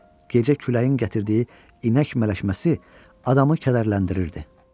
Gecə küləyin gətirdiyi inək mələşməsi adamı kədərləndirirdi.